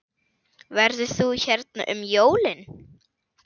Verður þú hérna um jólin?